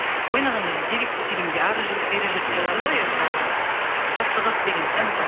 ойнағанда енді деректі фильмде ары жүріп бері жүріп болады ғой енді жаңағы жаттығып деген сияқты